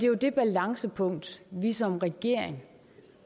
jo det balancepunkt vi som regering